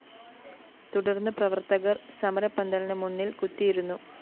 തുടര്‍ന്ന് പ്രവര്‍ത്തകര്‍ സമരപ്പന്തലിന് മുന്നില്‍ കുത്തിയിരുന്നു